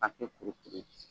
hakɛ kuru kelen